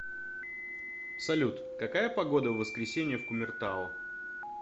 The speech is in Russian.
салют какая погода в воскресенье в кумертау